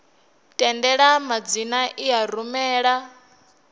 tendela madzina i a rumela